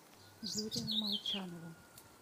юрию молчанову